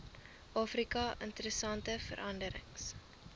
afrika interessante veranderings